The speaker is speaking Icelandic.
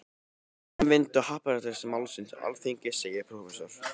Um framvindu happdrættis-málsins á Alþingi segir prófessor